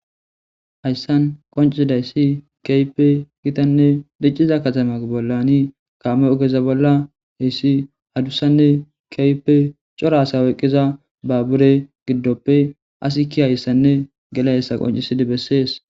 Haysan qoncidays kehipe gitanne diciza katamaza bollan kameza hes adusanne kehipe cora asa oykiza babure gidoppe asi keiyasanne gelizaysa qoncisidi beses